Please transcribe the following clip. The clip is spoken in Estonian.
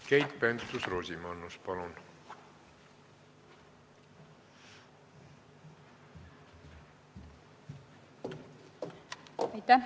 Keit Pentus-Rosimannus, palun!